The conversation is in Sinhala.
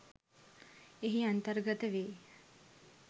එහි අන්තර්ගත වෙයි.